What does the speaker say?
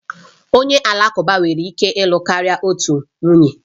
Onye Alakụba nwere ike ịlụ karịa otu nwunye